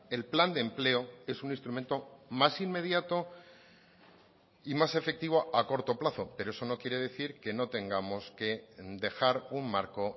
el plan de empleo es un instrumento más inmediato y más efectivo a corto plazo pero eso no quiere decir que no tengamos que dejar un marco